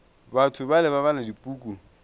batho bale ba bala dipuku